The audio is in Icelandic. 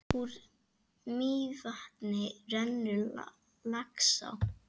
Úr Mývatni rennur Laxá.